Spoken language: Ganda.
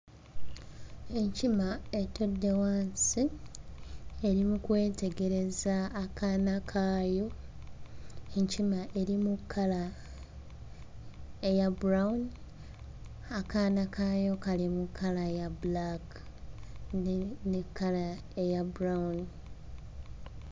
Enkima etudde wansi eri mu kwetegereza akaana kaayo. Enkima eri mu kkala eya brown, akaana kaayo kali mu kkala ya bbulaaka ne ne kkala eya brown.